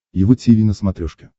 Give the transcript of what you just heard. его тиви на смотрешке